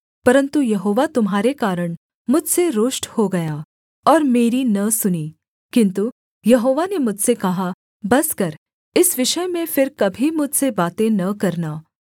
परन्तु यहोवा तुम्हारे कारण मुझसे रुष्ट हो गया और मेरी न सुनी किन्तु यहोवा ने मुझसे कहा बस कर इस विषय में फिर कभी मुझसे बातें न करना